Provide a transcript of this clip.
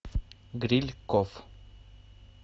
дрильков